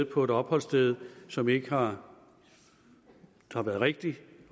på et opholdssted som ikke har været rigtigt